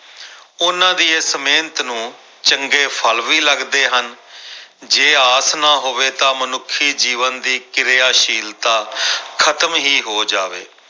ਉਹਨਾਂ ਦੀ ਇਸ ਮਿਹਨਤ ਨੂੰ ਚੰਗੇ ਫਲ ਵੀ ਲੱਗਦੇ ਹਨ ਜੇ ਆਸ ਨਾ ਹੋਵੇ ਤਾਂ ਮਨੁੱਖੀ ਜੀਵਨ ਦੀ ਕਿਰਿਆਸ਼ੀਲਤਾ ਖ਼ਤਮ ਹੀ ਹੋ ਜਾਵੇ।